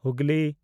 Hooghly